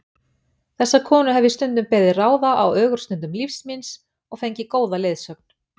Þessa konu hef ég stundum beðið ráða á ögurstundum lífs míns og fengið góða leiðsögn.